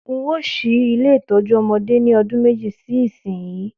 N óò s̩í ilé ìtó̩jú o̩mo̩dé ní o̩dún méjì sí ìsinyìí